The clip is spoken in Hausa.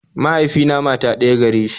Mahaifina mata ɗaya gare shi